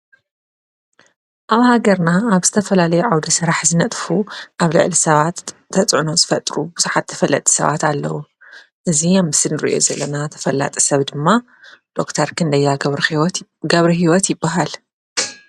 ኣብ ሃገርና ኣብ ዝተፈላለዮ ዓውደ ሠራሕ ዝነጥፉ ኣብ ልዓል ሰባት ተጽኖዝ ፈጥሩ ብዙሓት ተፈለጢ ሰባት ኣለዉ እዙ ኣም ስንርእዮ ዘለና ተፈላጠ ሰብ ድማ ዶክታርክንደያ ገብሪ ሕይወት ይብሃል።